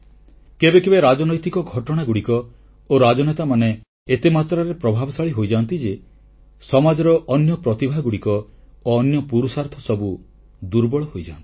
କେବେ କେବେ ରାଜନୈତିକ ଘଟଣାଗୁଡ଼ିକ ଓ ରାଜନେତାମାନେ ଏତେ ମାତ୍ରାରେ ପ୍ରଭାବଶାଳୀ ହୋଇଯାଆନ୍ତି ଯେ ସମାଜର ଅନ୍ୟ ପ୍ରତିଭାଗୁଡ଼ିକ ଓ ଅନ୍ୟ ପୁରୁଷାର୍ଥ ସବୁ ଦୁର୍ବଳ ହୋଇଯାଆନ୍ତି